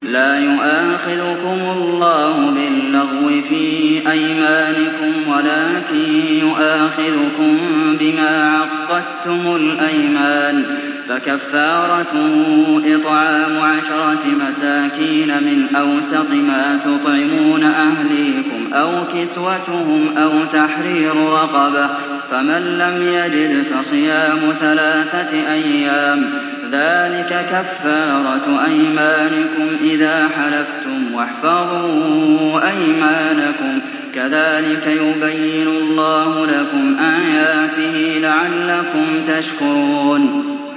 لَا يُؤَاخِذُكُمُ اللَّهُ بِاللَّغْوِ فِي أَيْمَانِكُمْ وَلَٰكِن يُؤَاخِذُكُم بِمَا عَقَّدتُّمُ الْأَيْمَانَ ۖ فَكَفَّارَتُهُ إِطْعَامُ عَشَرَةِ مَسَاكِينَ مِنْ أَوْسَطِ مَا تُطْعِمُونَ أَهْلِيكُمْ أَوْ كِسْوَتُهُمْ أَوْ تَحْرِيرُ رَقَبَةٍ ۖ فَمَن لَّمْ يَجِدْ فَصِيَامُ ثَلَاثَةِ أَيَّامٍ ۚ ذَٰلِكَ كَفَّارَةُ أَيْمَانِكُمْ إِذَا حَلَفْتُمْ ۚ وَاحْفَظُوا أَيْمَانَكُمْ ۚ كَذَٰلِكَ يُبَيِّنُ اللَّهُ لَكُمْ آيَاتِهِ لَعَلَّكُمْ تَشْكُرُونَ